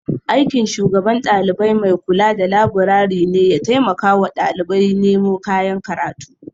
Aikin shugaban dalibai maikula da laburare ne ya taimakawa ɗalibai nemo kayan karatu.